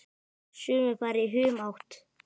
Sumir fara í humátt.